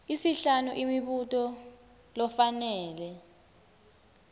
isihlanu imibuto lofanele